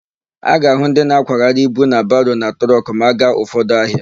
A ga-ahụ ndị na-akwagharị ibu na baro na trọkụ ma a gaa ụfọdụ ahịa.